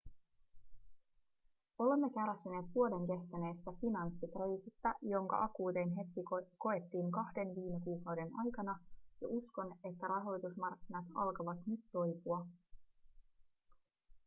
olemme kärsineet vuoden kestäneestä finanssikriisistä jonka akuutein hetki koettiin kahden viime kuukauden aikana ja uskon että rahoitusmarkkinat alkavat nyt toipua